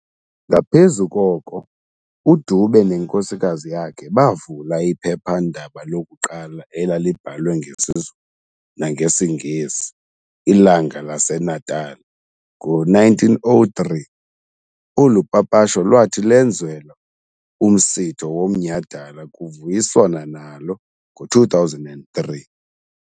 Ngaphezu koko, uDube nenkosikazi yakhe bavula iphephandaba lokuqala elalibhalwe ngesiZulu nangesiNgesi "Ilanga laseNatali" ngo-1903, olu papasho lwathi lwenzelwa umsitho womnyhadala kuvuyiswana nalo ngo-2003.